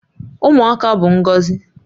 Ụmụaka bụ ngọzi